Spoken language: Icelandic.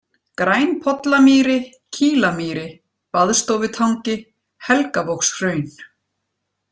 Grænpollamýri, Kílamýri, Baðstofutangi, Helgavogshraun